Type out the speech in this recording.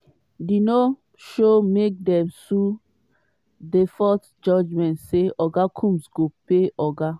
di no-show make dem issue default judgement say oga combs go pay oga